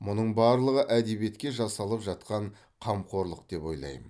мұның барлығы әдебиетке жасалып жатқан қамқорлық деп ойлаймын